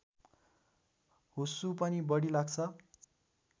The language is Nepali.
हुस्सु पनि बढी लाग्छ